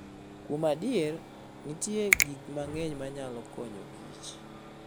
Kuom adier, nitie gik mang'eny manyalo konyokich .